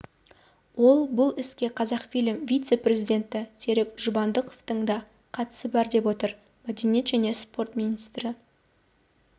ол бұл іске қазақфильм вице-президенті серік жұбандықовтың да қатысы бар деп отыр мәдениет және спорт министрі